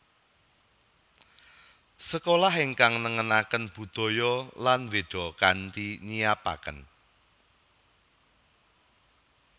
Sekolah ingkang nengenaken budaya lan Wéda kanthi nyiapaken